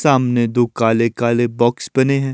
सामने दो काले काले बॉक्स बने है।